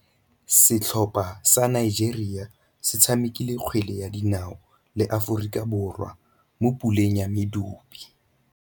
Setlhopha sa Nigeria se tshamekile kgwele ya dinaô le Aforika Borwa mo puleng ya medupe.